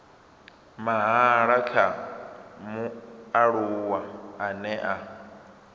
mahala kha mualuwa ane a